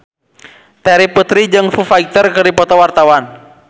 Terry Putri jeung Foo Fighter keur dipoto ku wartawan